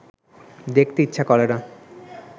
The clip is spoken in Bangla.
দেখতে ইচ্ছা করে না